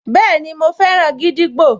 Bẹ́ẹ̀ni, mo fẹ́ràn gídígbò